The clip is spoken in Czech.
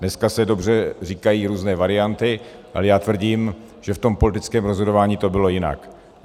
Dneska se dobře říkají různé varianty, ale já tvrdím, že v tom politickém rozhodování to bylo jinak.